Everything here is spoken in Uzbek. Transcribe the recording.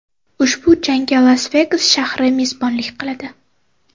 Ushbu jangga Las-Vegas shahri mezbonlik qiladi.